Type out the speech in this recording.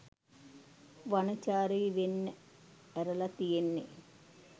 වනචාරි වෙන්න ඇරලා තියෙන්නේ